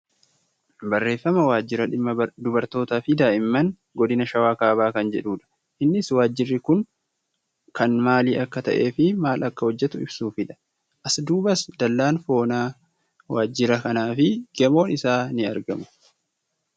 Barreeffama waajjira dhimma dubartootaafi daa'imman godina shawaa kaabaa kan jedhudha. Innis waajirri kun kan maalii akka ta'eefi maal akka hojjatu ibsuufidha. As duubas dallaan foonaa waajjira kanaafi gamoon isaa ni argamu.